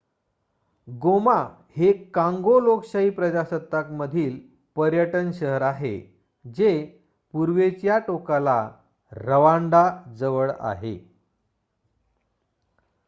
गोमा हे काँगो लोकशाही प्रजासत्ताकमधील पर्यटन शहर आहे जे पूर्वेच्या टोकाला रवांडाजवळ आहे